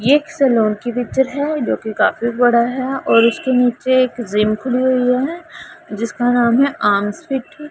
ये एक सैलून की पिक्चर है जो कि काफी बड़ा है और उसके नीचे एक जिम खुली हुई है जिसका नाम है आंसवित--